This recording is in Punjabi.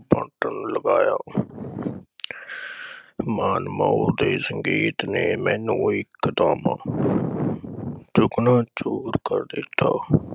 ਬਦਲਵਾਇਆ । ਮਾਨਮੋਹ ਦੇ ਸੰਗੀਤ ਨੇ ਮੈਨੂੰ ਇਕ ਦਮ ਚਕਨਾ ਚੂਰ ਕਰ ਦਿੱਤਾ ।